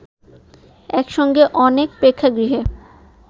একসঙ্গে অনেক প্রেক্ষাগৃহে